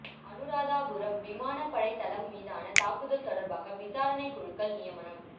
அனுராதபுரம் விமானப்படைத் தளம் மீதான தாக்குதல் தொடர்பாக விசாரணைக் குழுக்கள் நியமனம்